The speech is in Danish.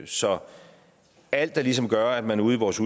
så alt der ligesom gør at man ude i vores